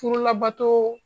Furu labato